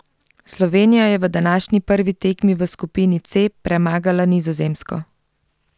Slovenija je v današnji prvi tekmi v skupini C premagala Nizozemsko.